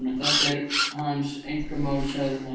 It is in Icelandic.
Þetta er hans einkamál, sagði hann.